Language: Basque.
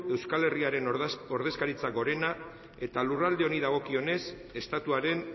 euskal herriaren ordezkaritza gorena eta lurralde honi dagokionez estatuaren